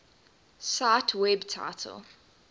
cite web title